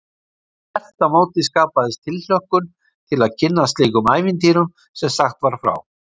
Þvert á móti skapaðist tilhlökkun til að kynnast slíkum ævintýrum sem sagt var frá.